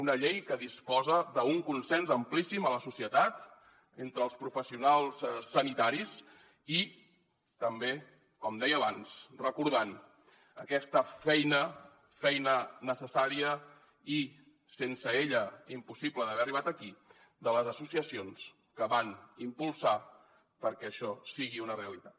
una llei que disposa d’un consens amplíssim a la societat entre els professionals sanitaris i també com deia abans recordant aquesta feina feina necessària i sense ella impossible d’haver arribat aquí de les associacions que van impulsar que això sigui una realitat